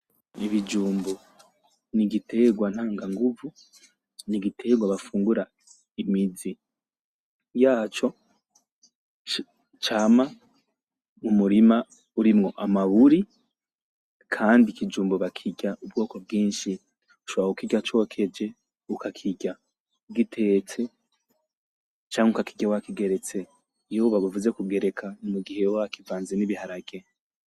Ibijumbu n'igitegwa ntanga nguvu, n'igitegwa bafungura imizi yaco cama mu murima urimwo amaburi kandi ikijumbu bakirya ubwoko bwinshi, ushobora kukirya cokeje, ukakirya gitetse, canke ukakirya wakigeretse, iyo bavuze kugereka n'igihe uba wakivanze n'ibiharage.